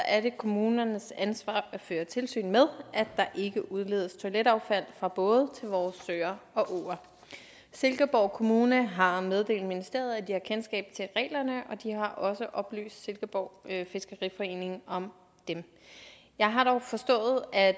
er det kommunernes ansvar at føre tilsyn med at der ikke udledes toiletaffald fra både vores søer og åer silkeborg kommune har meddelt ministeriet at de har kendskab til reglerne og har også oplyst silkeborg fiskeriforening om dem jeg har dog forstået at